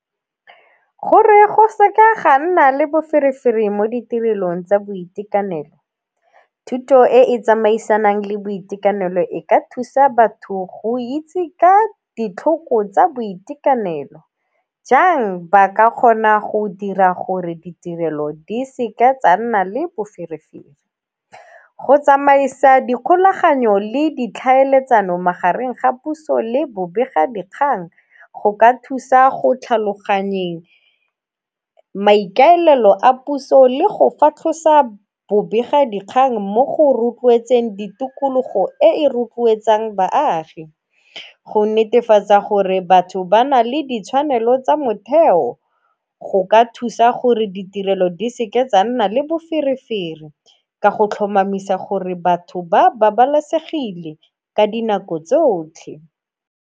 Gore go seka ga nna le boferefere mo ditirelong tsa boitekanelo, thuto e e tsamaisanang le boitekanelo e ka thusa batho go itse ka ditlhoko tsa boitekanelo. Jang ba ka kgona go dira gore ditirelo di seka tsa nna le boferefere, go tsamaisa di kgolaganyo le ditlhaeletsano magareng ga puso le bobega dikgang go ka thusa go tlhaloganyegang maikaelelo a puso le go fatlhosa bobega dikgang mo go rotloetseng ditokologo e rotloetsang baagi. Go netefatsa gore batho ba na le ditshwanelo tsa motheo go ka thusa gore ditirelo di seke tsa nna le boferefere ka go tlhomamisa gore batho ba babalesegile ka dinako tsotlhe.